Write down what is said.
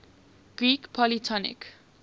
greek polytonic